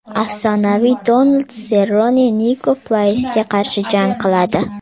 Afsonaviy Donald Serrone Niko Praysga qarshi jang qiladi.